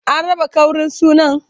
An raba ƙaurin sunan?